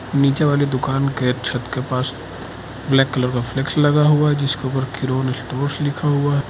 नीचे वाली दुकान के छत के पास ब्लैक कलर का फ्लेक्स लगा हुआ है जिसके ऊपर कीरोन स्टोर्स लिखा हुआ है।